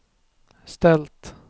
ställt